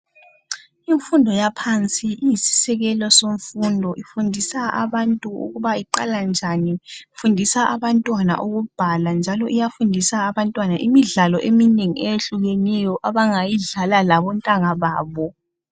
Imfundo yaphansi iyisisekelo semfundo ifundisa abantu ukuthi iqala njani, ifundisa abantwana ukubhala njalo iyafundisa abantwana imidlalo eminengi eyehlukeneyo abangayidlala labontanga babo.